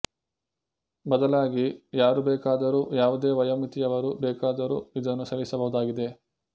ಬದಲಾಗಿ ಯಾರು ಬೇಕಾದರೂ ಯಾವುದೇ ವಯೋಮಿತಿಯವರು ಬೇಕಾದರೂ ಇದನ್ನು ಸೇವಿಸಬಹುದಾಗಿದೆ